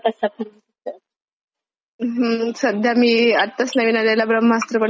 हम्म सध्या मी आत्ताच नवीन आलेला ब्रह्मास्त्र पण पहिला. त्याचे इफेक्ट्स खूप मस्तयेत. अच्छा अच्छा.